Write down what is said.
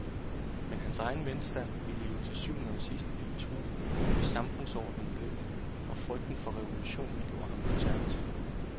Men hans egen velstand ville jo til syvende og sidst blive truet, hvis samfundsordenen blev det, og frygten for revolutionen gjorde ham konservativ.